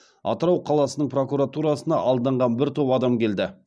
атырау қаласының прокуратурасына алданған бір топ адам келді